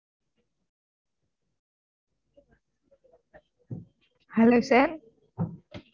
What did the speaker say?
hello sir